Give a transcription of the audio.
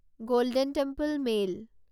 golden Temple mail